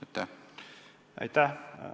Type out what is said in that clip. Aitäh!